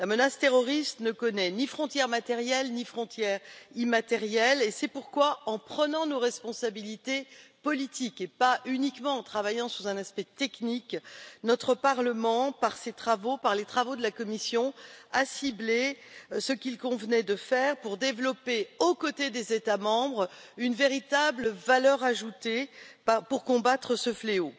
La menace terroriste ne connaît ni frontières matérielles, ni frontières immatérielles et c'est pourquoi, en prenant nos responsabilités politiques, et pas uniquement en travaillant sous un aspect technique, notre Parlement, par ses travaux, par les travaux de la commission, a ciblé ce qu'il convenait de faire pour développer, aux côtés des États membres, une véritable valeur ajoutée pour combattre ce fléau.